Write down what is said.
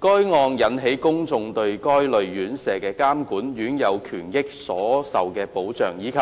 該案件引起公眾對該類院舍的監管、院友權益所受保障，以及